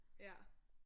Ja